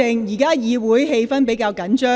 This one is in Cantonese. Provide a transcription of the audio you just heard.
現時會議氣氛比較緊張。